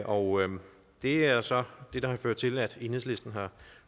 og det er så det der har ført til at enhedslisten har